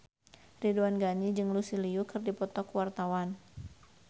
Ridwan Ghani jeung Lucy Liu keur dipoto ku wartawan